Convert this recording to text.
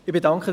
Zu Ziel 1: